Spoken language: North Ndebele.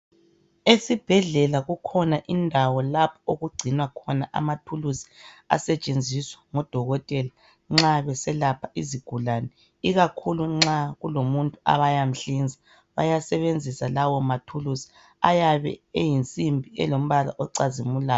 Esibhedĺela kukhona indawo .lapho okugcinwa khona izikhali ezisetshenziswa ngodokotela nxa beselapha izigulane ikakhulu ekuhlinzeni umuntu. Izikhali lezi ziyabe ziyinsimbi zilombala. ocazimulayo.